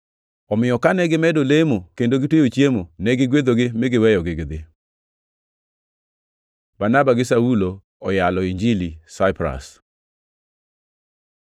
Omiyo kane gimedo lemo kendo gitweyo chiemo, ne gigwedhogi mi giweyogi gidhi. Barnaba gi Saulo oyalo Injili Saipras